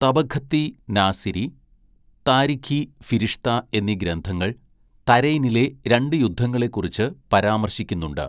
തബഖത്തീ നാസിരി, താരിഖീ ഫിരിഷ്ത എന്നീ ഗ്രന്ഥങ്ങൾ തരൈനിലെ രണ്ട് യുദ്ധങ്ങളെക്കുറിച്ച് പരാമർശിക്കുന്നുണ്ട്.